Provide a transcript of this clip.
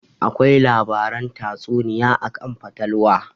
Akwai labaran tatsuniya akan fatalwa